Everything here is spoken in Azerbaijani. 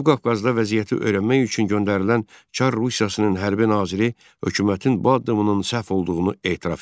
Cənubi Qafqazda vəziyyəti öyrənmək üçün göndərilən Çar Rusiyasının hərbi naziri hökumətin bu addımının səhv olduğunu etiraf etdi.